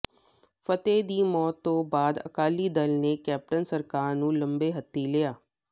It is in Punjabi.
ਫਤਿਹ ਦੀ ਮੌਤ ਤੋਂ ਬਾਅਦ ਅਕਾਲੀ ਦਲ ਨੇ ਕੈਪਟਨ ਸਰਕਾਰ ਨੂੰ ਲੰਮੇ ਹੱਥੀਂ ਲਿਆ